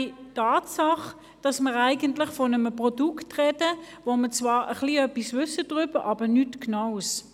Es ist Tatsache, dass wir von einem Produkt sprechen, über das wir ein wenig etwas wissen, aber eben nichts Genaues.